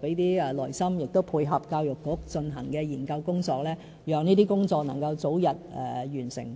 給點耐性，配合教育局進行的研究工作，讓這些工作能夠早日完成。